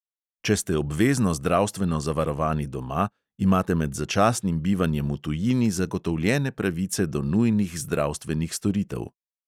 Če ste obvezno zdravstveno zavarovani doma, imate med začasnim bivanjem v tujini zagotovljene pravice do nujnih zdravstvenih storitev.